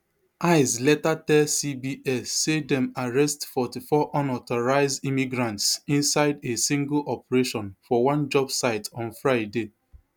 ice later tell cbs say dem arrest forty-four unauthorised immigrants inside a single operation for one job site on friday